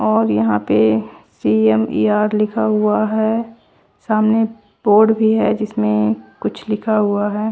और यहां पे सी_एम_ई_ऑर लिखा हुआ है सामने बोर्ड भी है जिसमें कुछ लिखा हुआ हैं